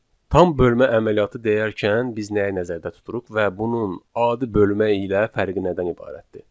Tam bölmə əməliyyatı deyərkən biz nəyi nəzərdə tuturuq və bunun adi bölmə ilə fərqi nədən ibarətdir?